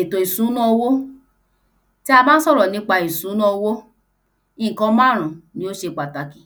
Ètò ìsùná owó tí a bá ń sọ̀rọ̀ nípa ètò ìsùná owó ìnkan márún ni ó ṣe pàtàkì